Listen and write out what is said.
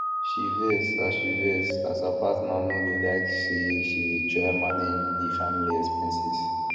she vex as she vex as her patner no do like say she dey try manage di family expenses